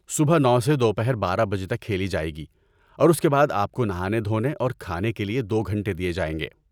صبح نو سے دوپہر بارہ بجے تک کھیلی جائے گی اور اس کے بعد آپ کو نہانے دھونے اور کھانے کے لیے دو گھنٹے دیے جائیں گے